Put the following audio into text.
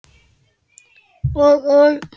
Og og og?